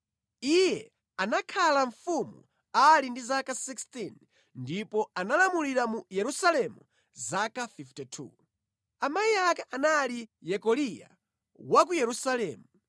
Iye anakhala mfumu ali ndi zaka 16 ndipo analamulira mu Yerusalemu zaka 52. Amayi ake anali Yekoliya wa ku Yerusalemu.